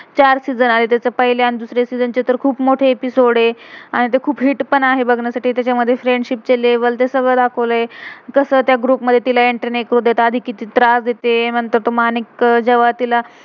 चार season season आहे तेचे. पहिले आणि दुसरं सीजन season तर ते खुप मोठे एपिसोड episode आहे. आणि ते खुप हिट hit पण आहे बघण्यासाठी. तेच्या मधे फ्रेंडशिप friendship चे लेवल level ते सग्लं दाखवलय. कसं त्या ग्रुप group मधे एंट्री entry नाही करू देत. आधी कीती त्रास देते म्हणतात मानिक अह जेव्हा तिला.